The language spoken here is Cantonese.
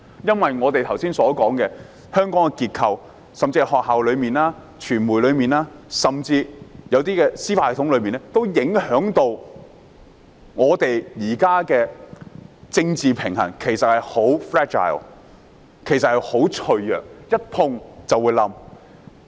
正如我們剛才提到，香港的結構，包括學校、傳媒甚至司法系統，影響香港現時的政治平衡，而政治平衡已十分脆弱，一碰便會崩潰。